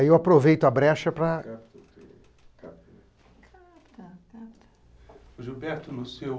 Aí eu aproveito a brecha para...(sussurros) O Gilberto, no seu